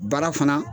Baara fana